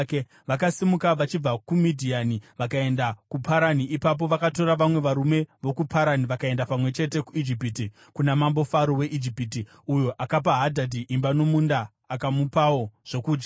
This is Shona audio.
Vakasimuka vachibva kuMidhiani vakaenda kuParani. Ipapo vakatora vamwe varume vokuParani vakaenda pamwe chete kuIjipiti, kuna mambo Faro weIjipiti, uyo akapa Hadhadhi imba nomunda, akamupawo zvokudya.